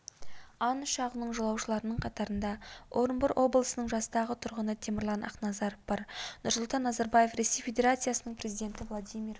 ан ұшағының жолаушыларының қатарында орынбор облысының жастағы тұрғыны темірлан ақназаров бар нұрсұлтан назарбаев ресей федерациясының президенті владимир